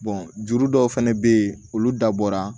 juru dɔw fɛnɛ bɛ ye olu dabɔra